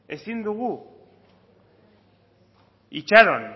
ezin dugu itxaron